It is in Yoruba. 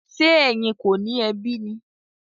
Ṣe ẹyìn kọ ni ẹ bi mi?